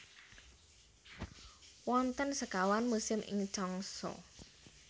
Wonten sekawan musim ing Changsa